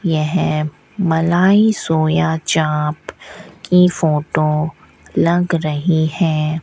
यह मलाई सोया चांप की फोटो लग रही है।